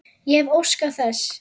Ég hefði óskað þess.